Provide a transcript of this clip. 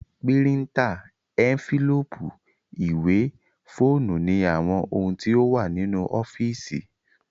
Píríntà, ẹ́ńfílóòpù, ìwé, fóònù ni àwọn ohun tí ó wà ní ọ́físì